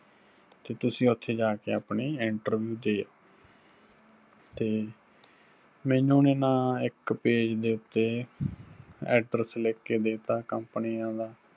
ਤੇ ਤੁਸੀਂ ਉੱਥੇ ਜਾ ਕੇ ਆਪਣੀ interview ਦੇ ਆਓ, ਤੇ ਮੈਨੂੰ ਉਹਨੇ ਨਾ ਇੱਕ page ਦੇ ਉੱਤੇ address ਲਿੱਖ ਕੇ ਦੇਤਾ ਕੰਪਣੀਆਂ ਦਾ,